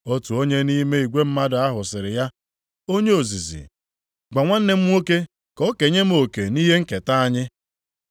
Otu onye nʼime igwe mmadụ ahụ sịrị ya, “Onye ozizi, gwa nwanne m nwoke ka o kenye m oke nʼihe nketa anyị.”